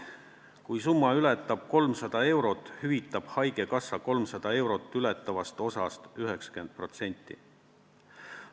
Kui summa ületab 300 eurot, hüvitab haigekassa 300 eurot ületavast osast 90 protsenti.